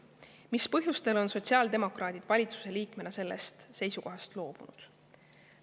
Mis põhjustel on sotsiaaldemokraadid valitsuse liikmena sellest seisukohast loobunud?